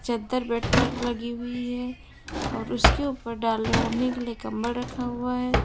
चद्दर बेड पर लगी हुई है और उसके ऊपर डालने ओढ़ने के लिए कम्बल रखा हुआ है।